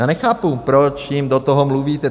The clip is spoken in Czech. Já nechápu, proč jim do toho mluvíte.